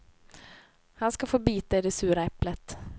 Han ska få bita i det sura äpplet.